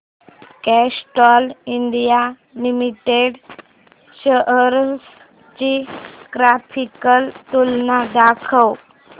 Castrol India limited shares ची graphical तुलना दाखव